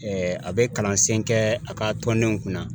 a bɛ kalansen kɛ a ka tɔndenw kunna